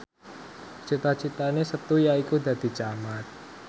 cita citane Setu yaiku dadi camat